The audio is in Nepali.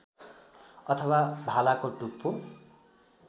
अथवा भालाको टुप्पो